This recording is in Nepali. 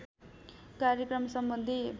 कार्यक्रम सम्बन्धी